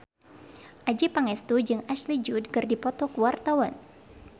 Adjie Pangestu jeung Ashley Judd keur dipoto ku wartawan